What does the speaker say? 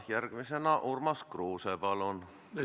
Järgmisena Urmas Kruuse, palun!